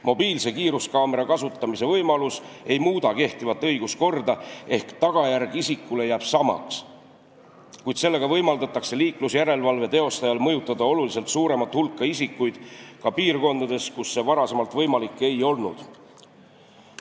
Mobiilse kiiruskaamera kasutamise võimalus ei muuda kehtivat õiguskorda ehk tagajärg isikule jääb samaks, kuid sellega võimaldatakse liiklusjärelevalve teostajal mõjutada oluliselt suuremat hulka isikuid ka piirkondades, kus see varem võimalik ei olnud.